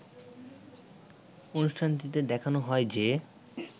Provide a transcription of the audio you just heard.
অনুষ্ঠানটিতে দেখানো হয় যে